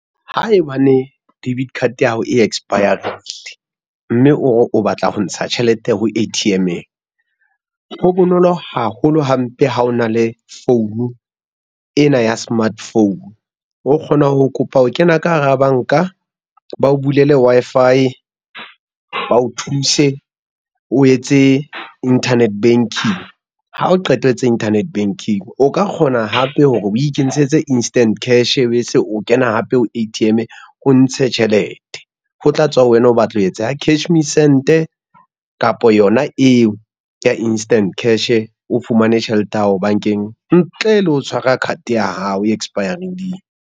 Haebane debit card ya hao e expire-rile, mme ore o batla ho ntsha tjhelete ho A_T_M-eng. Ho bonolo haholo hampe ha ona le founu, ena ya smart phone o kgona ho kopa ho kena ka hara banka bao bulele Wi-Fi ba o thuse, o etse internet banking ha o qeta tsa internet banking, o ka kgona hape hore o ikentshetse instant cash be se o kena hape ho A_T_M o ntshe tjhelete. Ho tla tswa ho wena o batla ho etsa ya cash me send-e kapa yona eo ya instant cash o fumane tjhelete ya hao bankeng ntle le ho tshwara card ya hao e expire-rileng.